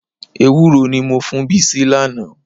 Ewúró ni mo fún Bísí lánàá.